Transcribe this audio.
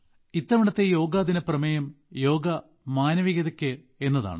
ഇത്തവണത്തെ യോഗ ദിന പ്രമേയം യോഗ മാനവികതയ്ക്ക് എന്നതാണ്